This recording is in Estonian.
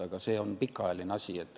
Aga see on pikaajaline asi.